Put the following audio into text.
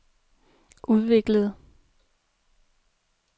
udviklede